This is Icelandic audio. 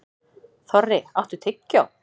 Þorri, áttu tyggjó?